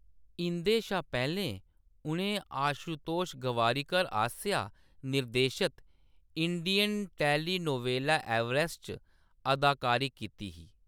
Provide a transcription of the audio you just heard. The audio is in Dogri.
इं'दे शा पैह्‌‌‌लें, उʼनें आशुतोष गोवारिकर आसेआ निर्देशत इंडियन टेलीनोवेला एवरेस्ट च अदाकारी कीती ही।